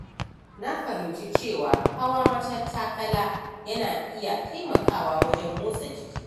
Na fahimci cewa hawa matattakala yana iya taimakawa wajen motsa jiki.